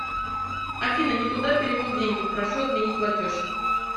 афина нетуда перевел деньги прошу отменить платеж